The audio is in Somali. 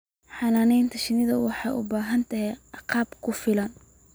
Xannaanada shinnidu waxay u baahan tahay agab ku filan.